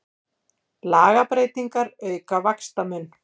Lagabreytingar auka vaxtamun